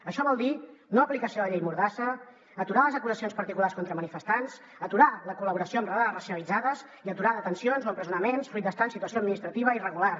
això vol dir no aplicació de la llei mordassa aturar les acusacions particulars contra manifestants aturar la col·laboració amb batudes racialitzades i aturar detencions o empresonaments fruit d’estar en situació administrativa irregular